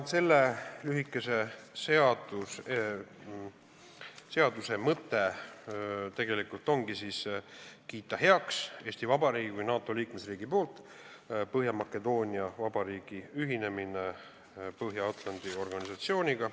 Selle lühikese seaduse mõte ongi, et Eesti Vabariik kui NATO liikmesriik kiidaks heaks Põhja-Makedoonia Vabariigi ühinemise Põhja-Atlandi Lepingu Organisatsiooniga.